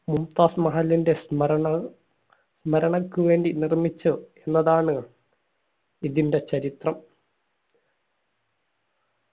മുംതാസ് മഹലിന്റെ സ്മരണ സ്മരണക്ക് വേണ്ടി നിർമിച്ച ന്നതാണ് ഇതിന്റെ ചരിത്രം